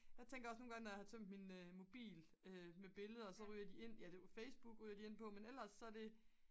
jeg tænker også nogengange når jeg har tomt min mobil med billeder så ryger de ind ja Facebook ryger de ind på men ellers så er det